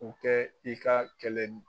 U tɛ i ka kɛlɛ n